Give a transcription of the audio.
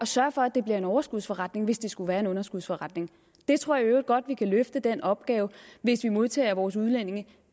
sørge for at det bliver en overskudsforretning hvis det skulle være en underskudsforretning jeg tror i øvrigt godt at vi kan løfte den opgave hvis vi modtager vores udlændinge